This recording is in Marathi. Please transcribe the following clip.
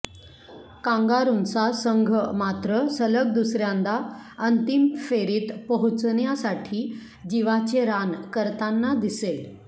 कांगारूंचा संघ मात्र सलग दुसर्यांदा अंतिम फेरीत पोहोचण्यासाठी जिवाचे रान करताना दिसेल